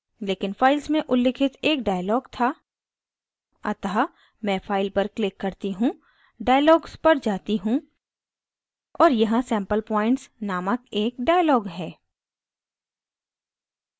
लेकिन files में उल्लिखित एक dialog था अतः मैं file पर click करती हूँ dialogs पर जाती हूँ और यहाँ sample points नामक एक dialog है